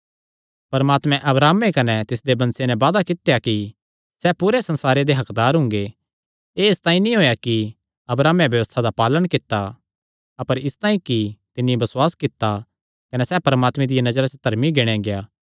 परमात्मे अब्राहमे कने तिसदे वंशे नैं वादा कित्या कि सैह़ पूरे संसारे दे हक्कदार हुंगे एह़ इसतांई नीं होएया कि अब्राहमे व्यबस्था दा पालण कित्ता अपर इसतांई कि तिन्नी बसुआस कित्ता कने सैह़ परमात्मे दिया नजरा च धर्मी गिणेया गेआ